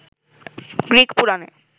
Greek পুরাণে